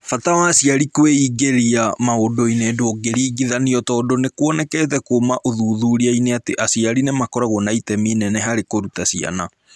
Bata wa aciari kwĩingĩria maũndũ-inĩ ndũngĩringithanio tondũ nĩ kuonekete kuuma ũthuthuria-inĩ atĩ aciari nĩ makoragwo na itemi inene harĩ kũruta ciana.